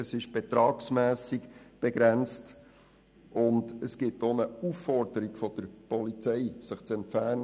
Sie ist betragsmässig begrenzt, und es braucht auch eine Aufforderung der Polizei, sich zu entfernen.